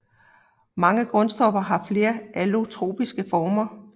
Mange grundstoffer har flere allotropiske former